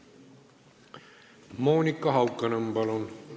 Monika Haukanõmm, palun!